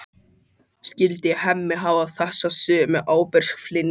Skyldi Hemmi hafa þessa sömu ábyrgðartilfinningu?